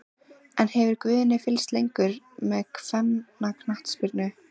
En hefur Guðni fylgst lengi með kvennaknattspyrnu?